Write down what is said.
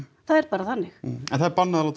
það er bara þannig en það er bannað að láta